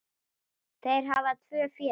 Þeir hafa tvö félög.